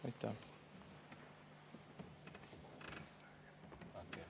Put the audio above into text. Aitäh!